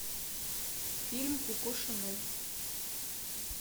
фильм коко шанель